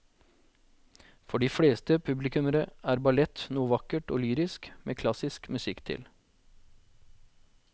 For de fleste publikummere er ballett noe vakkert og lyrisk med klassisk musikk til.